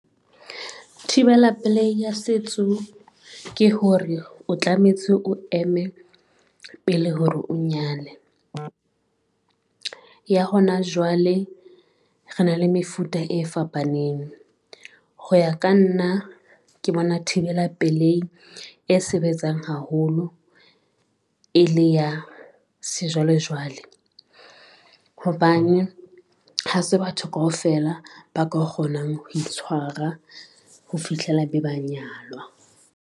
Thibela pelehi ya setso ke hore o tlametse o eme pele hore o nyale. Ya hona jwale re na le mefuta e fapaneng, ho ya ka nna ke bona thibela pelehi e sebetsang haholo e le ya sejwalejwale, hobane ha se batho kaofela ba ka kgonang ho itshwara ho fihlela be ba nyalwa.